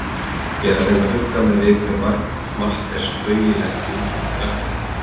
Ég reyni að hugga mig við hve margt er spaugilegt í umfjöllun gagnrýnenda.